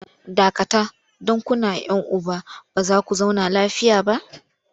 Dakata! don kuna 'yan uba ba za ku zauna lafiya ba!